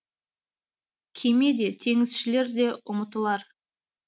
кеме де теңізшілер де ұмытылар